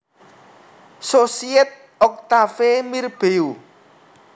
Société Octave Mirbeau